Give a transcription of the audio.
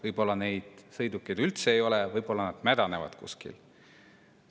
Võib-olla neid sõidukeid üldse ei ole, võib-olla nad mädanevad kuskil.